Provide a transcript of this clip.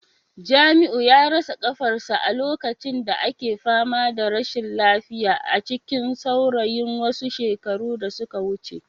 Jamiu ya rasa kafarsa a lokacin da ake fama da rashin lafiya a cikin saurayin wasu shekaru da suka wuce